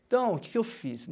Então, o que que eu fiz?